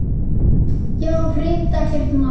Já, hreint ekkert má.